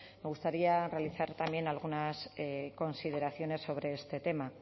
me gustaría realizar también algunas consideraciones sobre este tema